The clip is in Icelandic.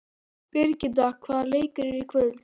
Birgitta, hvaða leikir eru í kvöld?